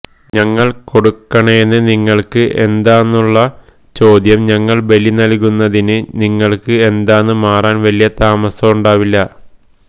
ഞങൾ കൊടുക്കണേന് നിങ്ങൾക്ക് എന്താന്നുള്ള ചോദ്യം ഞങ്ങൾ ബലി നൽകുന്നതിന് നിങ്ങൾക്ക് എന്താ ന്ന് മാറാൻ വല്യ താമസോണ്ടാവില്ല